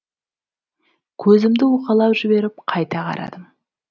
көзімді уқалап жіберіп қайта қарадым